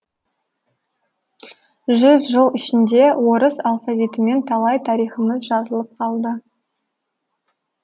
жүз жыл ішінде орыс алфавитімен талай тарихымыз жазылып қалды